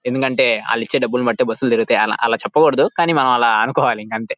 ఎందుకంటే వాలు ఇచ్చే డబ్బులు బస్సు లు తిరుగుతాయి. ఆలా చెప్పకూడదు కానీ మనము ఆలా అనుకోవాలి ఇంకాంతే --